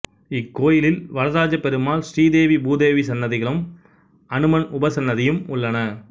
இக்கோயிலில் வரதராஜ பெருமாள் ஸ்ரீதேவி பூதேவி சன்னதிகளும் அனுமன் உபசன்னதியும் உள்ளன